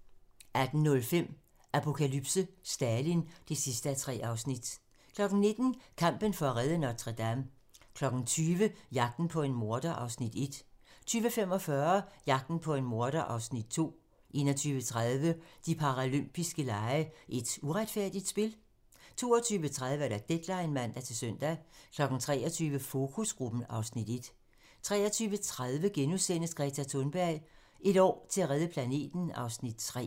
16:35: Flugten fra DDR * 17:35: Da Danmark blev flettet sammen (Afs. 1) 18:05: Apokalypse: Stalin (3:3) 19:00: Kampen for at redde Notre-Dame 20:00: Jagten på en morder (Afs. 1) 20:45: Jagten på en morder (Afs. 2) 21:30: De paralympiske lege: Et uretfærdigt spil? 22:30: Deadline (man-søn) 23:00: Fokusgruppen (Afs. 1) 23:30: Greta Thunberg: Et år til at redde planeten (Afs. 3)*